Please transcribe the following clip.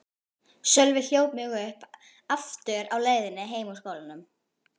Sölvi hljóp mig aftur uppi á leiðinni heim úr skólanum.